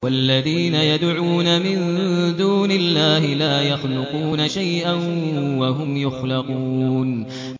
وَالَّذِينَ يَدْعُونَ مِن دُونِ اللَّهِ لَا يَخْلُقُونَ شَيْئًا وَهُمْ يُخْلَقُونَ